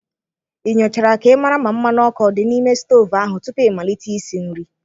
Ị nyochara ka ịmara ma mmanụ ọkụ ọ dị n'ime stovu ahụ tupu ịmalite isi nri?